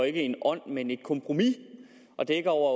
ikke en ånd men et kompromis og dækker over